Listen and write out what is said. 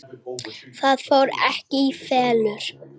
Það fór ekki í felur.